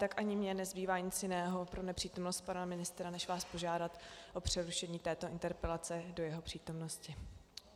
Tak ani mně nezbývá nic jiného pro nepřítomnost pana ministra než vás požádat o přerušení této interpelace do jeho přítomnosti.